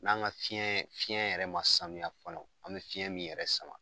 N'an ka fiɲɛ , fiɲɛ yɛrɛ ma saniya fɔlɔ an be fiɲɛ min yɛrɛ sama.